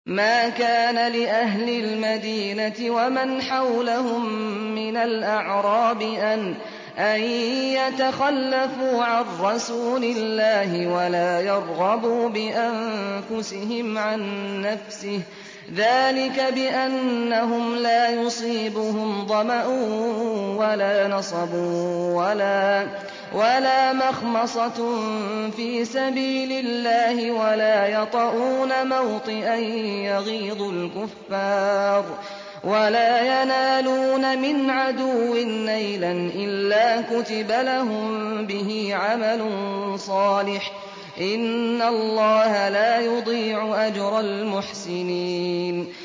مَا كَانَ لِأَهْلِ الْمَدِينَةِ وَمَنْ حَوْلَهُم مِّنَ الْأَعْرَابِ أَن يَتَخَلَّفُوا عَن رَّسُولِ اللَّهِ وَلَا يَرْغَبُوا بِأَنفُسِهِمْ عَن نَّفْسِهِ ۚ ذَٰلِكَ بِأَنَّهُمْ لَا يُصِيبُهُمْ ظَمَأٌ وَلَا نَصَبٌ وَلَا مَخْمَصَةٌ فِي سَبِيلِ اللَّهِ وَلَا يَطَئُونَ مَوْطِئًا يَغِيظُ الْكُفَّارَ وَلَا يَنَالُونَ مِنْ عَدُوٍّ نَّيْلًا إِلَّا كُتِبَ لَهُم بِهِ عَمَلٌ صَالِحٌ ۚ إِنَّ اللَّهَ لَا يُضِيعُ أَجْرَ الْمُحْسِنِينَ